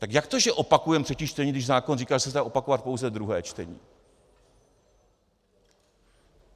Tak jak to, že opakujeme třetí čtení, když zákon říká, že se dá opakovat pouze druhé čtení?